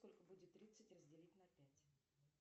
сколько будет тридцать разделить на пять